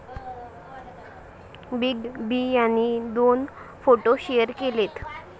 Big B यांनी यात दोन फोटो शेअर केलेत.